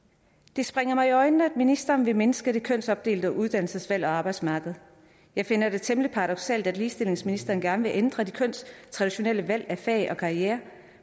det springer mig i øjnene at ministeren vil mindske det kønsopdelte uddannelsesvalg og arbejdsmarked jeg finder det temmelig paradoksalt at ligestillingsministeren gerne vil ændre de kønstraditionelle valg af fag og karriere